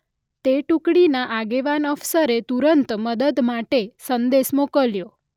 તે ટુકડીના આગેવાન અફસરે તુરંત મદદ માટે સંદેશ મોકલ્યો.